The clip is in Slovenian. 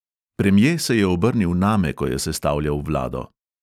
Premje se je obrnil name, ko je sestavljal vlado.